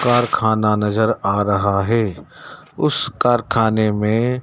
कारखाना नजर आ रहा है उस कारखाने में--